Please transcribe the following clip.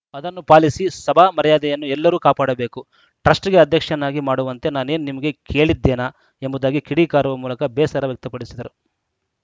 ಅದನ್ನು ಪಾಲಿಸಿ ಸಭಾ ಮರ್ಯಾದೆಯನ್ನು ಎಲ್ಲರೂ ಕಾಪಾಡಬೇಕು ಟ್ರಸ್ಟ್‌ಗೆ ಅಧ್ಯಕ್ಷನಾಗಿ ಮಾಡುವಂತೆ ನಾನೇನು ನಿಮಗೆ ಕೇಳಿದ್ದೆನಾ ಎಂಬುದಾಗಿ ಕಿಡಿಕಾರುವ ಮೂಲಕ ಬೇಸರ ವ್ಯಕ್ತಪಡಿಸಿದರು